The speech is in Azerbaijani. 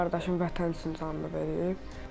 Mənim qardaşım vətən üçün canını verib.